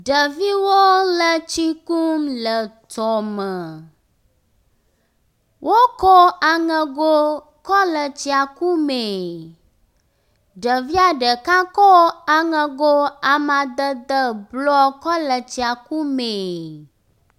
ɖeviwo le tsi kum le tɔme wó kɔ aŋego kɔle tsia kumeɛ ɖevia ɖeka kó aŋego amadede blɔ kɔle tsia kumeɛ